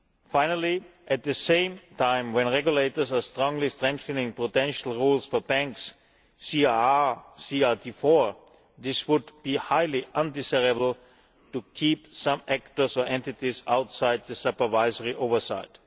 Finally, at the same time that regulators are strongly strengthening potential rules for banks CRR, CRD 4 it would be highly undesirable to keep some actors or entities outside the supervisory oversight.